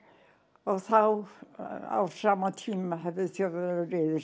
og þá á sama tíma höfðu Þjóðverjar